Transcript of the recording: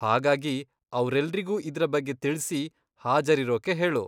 ಹಾಗಾಗಿ, ಅವ್ರೆಲ್ರಿಗೂ ಇದ್ರ ಬಗ್ಗೆ ತಿಳ್ಸಿ, ಹಾಜರಿರೋಕೆ ಹೇಳು.